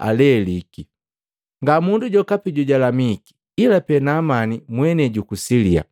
aleliki. Ngamundu jokapi jojalamiki ila pe Naamani mwenei juku Silia.”